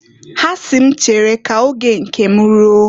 Ha si m m chere ka oge nke m ruo.